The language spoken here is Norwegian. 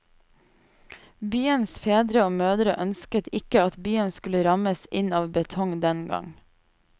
Byens fedre og mødre ønsket ikke at byen skulle rammes inn av betong den gang.